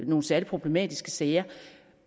nogen særlig problematiske sager